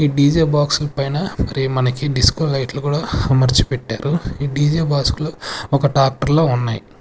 ఈ D J బాక్సుల్పైన ఒకరీ మనకి డిస్కో లైట్లు కూడా అమర్చి పెట్టారు ఈ డీ జే బాస్కులు ఒక టాక్టర్లో ఉన్నాయ్.